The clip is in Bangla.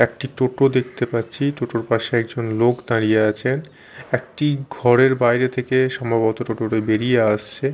একটি টোটো দেখতে পাচ্ছি টোটো -এর পাশে একজন লোক দাঁড়িয়ে আছেন একটি ঘরের বাইরে থেকে সম্ভবত টোটো -টি বেরিয়ে আসছে।